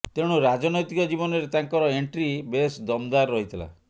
ତେଣୁ ରାଜନୈତିକ ଜୀବନରେ ତାଙ୍କର ଏଣ୍ଟ୍ରି ବେଶ ଦମଦାର ରହିଥିଲା